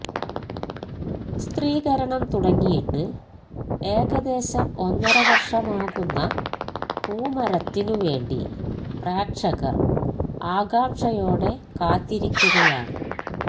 ചിത്രീകരണം തുടങ്ങിയിട്ട് ഏകദേശം ഒന്നരവര്ഷമാകുന്ന പൂമരത്തിനു വേണ്ടി പ്രേക്ഷകര് ആകാംഷയോടെ കാത്തിരിക്കുകയാണ്